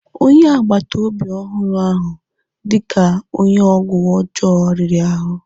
Onye agbata obi ọhụrụ ahụ dị ka onye ọgwụ ọjọọ riri ahụ.